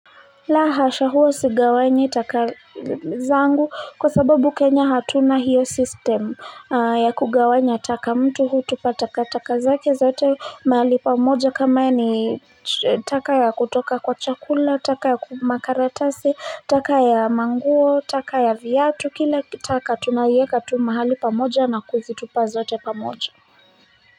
La hasha huo sigawanyi taka zangu kwa sababu kenya hatuna hiyo mfumo ya kugawanya taka mtu hutupa taka taka zake zote mahali pamoja kama ni taka ya kutoka kwa chakula taka ya makaratasi taka ya nguo taka ya viatu kila taka tunaieka tu mahali pamoja na kuzitupa zote pamoja.